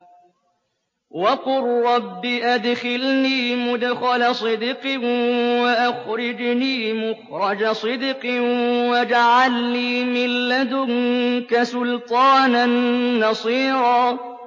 وَقُل رَّبِّ أَدْخِلْنِي مُدْخَلَ صِدْقٍ وَأَخْرِجْنِي مُخْرَجَ صِدْقٍ وَاجْعَل لِّي مِن لَّدُنكَ سُلْطَانًا نَّصِيرًا